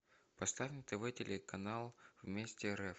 поставь на тв телеканал вместе рф